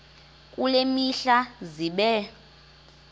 kule mihla zibe